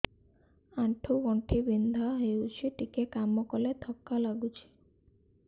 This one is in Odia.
ଆଣ୍ଠୁ ଗଣ୍ଠି ବିନ୍ଧା ହେଉଛି ଟିକେ କାମ କଲେ ଥକ୍କା ଲାଗୁଚି